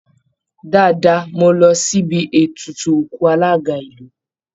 Dáadáa, mo lọ síbi ètùtù òkú alága ìlú